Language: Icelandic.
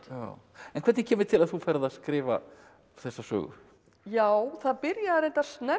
en hvernig kemur til að þú ferð að skrifa þessa sögu já það byrjaði reyndar snemma